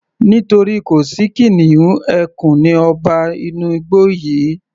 Nítorí kò sí kìnìún, ẹkùn ni ọba inú igbó yìí